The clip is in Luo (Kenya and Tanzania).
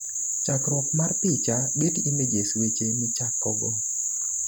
chakruok mar picha, Getty Images, weche michakogo